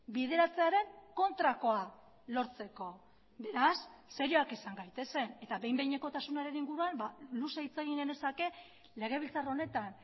bideratzearen kontrakoa lortzeko beraz serioak izan gaitezen eta behin behinekotasunaren inguruan luze hitz egin genezake legebiltzar honetan